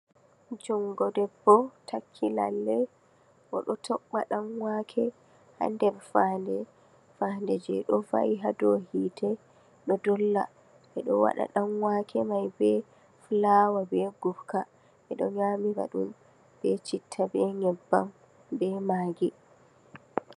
Jungo deɓbo takki lalle oɗo toppa ɗan'wake ha nder fahannde, fahande je woni hadow yite ɗo dolla. Ɓeɗo waɗa ɗanwake man be fulawa be gurka, ɓeɗo nyamira ɗum be citta be nyebbam be maggi.